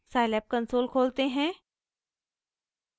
scilab console खोलते हैं